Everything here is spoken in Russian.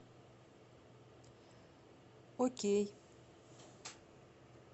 окей